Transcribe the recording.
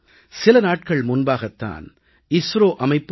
சில நாட்கள் முன்பாகத் தான் இஸ்ரோ நிறுவனம் ஜி